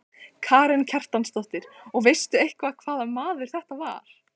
Karen Kjartansdóttir: Og veistu eitthvað hvaða maður þetta var?